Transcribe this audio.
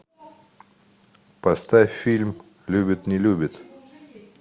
поставь фильм любит не любит